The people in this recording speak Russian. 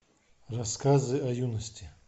рассказы о юности